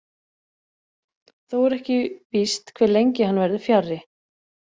Þó er ekki víst hve lengi hann verður fjarri.